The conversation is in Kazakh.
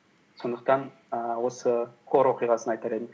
сондықтан ііі осы хор оқиғасын айтар едім